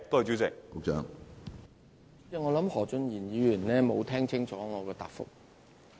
主席，我認為何俊賢議員沒有聽清楚我的答覆。